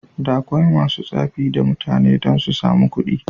Da akwai masu tsafi da mutane dan susamu kuɗi.